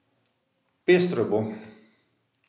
Pestro bo.